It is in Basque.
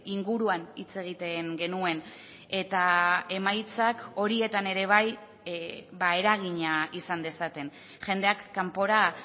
inguruan hitz egiten genuen eta emaitzak horietan ere bai eragina izan dezaten jendeak kanpora